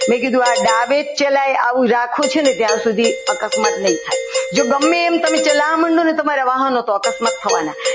મેં કીધું આ ડાબે જ ચલાય આ રાખ્યું છે ને ત્યાં સુધી અકસ્માત નહીં થાય જો ગમે તેમ તમે ચલાવવા માંડો ને તો અકસ્માત થવાના.